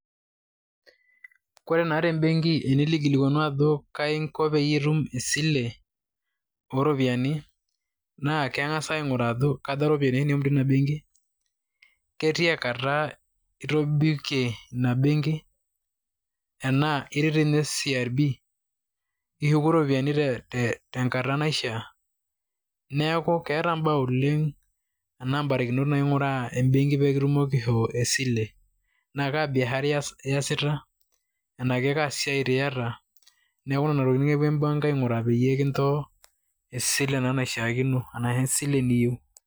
Ore naa te mbenki tenilo aikilikuanu ajo kaji inko peyie itum esile oo rropiyiani naa, keng`as aing`uraa ajo kaja irropiyiani oshi nishum teina benki. Ketia kata itobikie ina benki tenaa itii doi ninye CRB. Ishuku irropiyiani tenkata naishia. Neeku keeta im`baa oleng enaa im`barikinot naing`uraa em`benki pee kitumoki aishoo esile. Naa kaa biashara iyasita enaa kaa siai doi iyata. Niaku nena tokitin epuo embenki aing`uraa pee kincho esile naa naishiakino arashu esile niyieu.